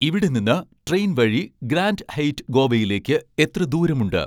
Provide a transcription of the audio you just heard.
ഇവിടെ നിന്ന് ട്രെയിൻ വഴി ഗ്രാൻഡ് ഹെയ്റ്റ് ഗോവയിലേക്ക് എത്ര ദൂരമുണ്ട്